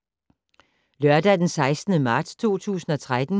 Lørdag d. 16. marts 2013